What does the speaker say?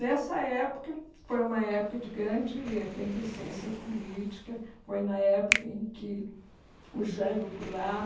Nessa época, foi uma época de grande efervescência política, foi na época em que o Jango Goulart,